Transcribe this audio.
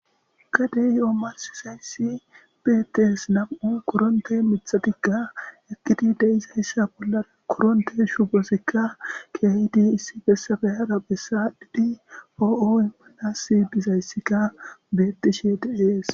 Gadeyo mathezayisi bettes na'mu miththathikka de'es haysa bolla shibozikka issi bessan be'ana po'oy etas dizayisikka betteshe de'es.